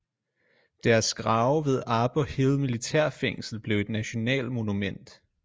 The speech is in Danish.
Deres grave ved arbour hill militærfængsel blev et nationalmonument